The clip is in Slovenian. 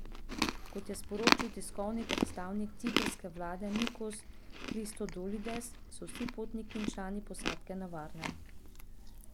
Kot je sporočil tiskovni predstavnik ciprske vlade Nikos Kristodulides, so vsi potniki in člani posadke na varnem.